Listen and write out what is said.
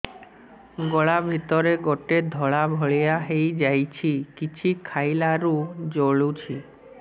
ଗଳା ଭିତରେ ଗୋଟେ ଧଳା ଭଳିଆ ହେଇ ଯାଇଛି କିଛି ଖାଇଲାରୁ ଜଳୁଛି